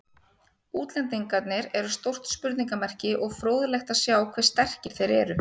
Útlendingarnir eru stórt spurningamerki og fróðlegt að sjá hve sterkir þeir eru.